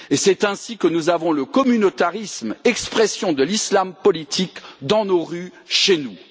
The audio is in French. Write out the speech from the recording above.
C'est ainsi que nous avons le communautarisme, expression de l'islam politique, dans nos rues, chez nous.